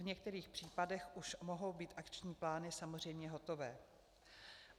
V některých případech už mohou být akční plány samozřejmě hotové.